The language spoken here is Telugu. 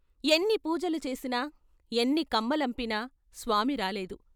ఎన్నిపూజలు చేసినా, ఎన్ని కమ్మలంపినా స్వామి రాలేదు.